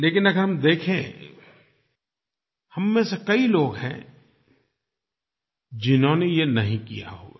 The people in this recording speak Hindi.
लेकिन अगर हम देखें हम में से कई लोग हैं जिन्होंने ये नहीं किया होगा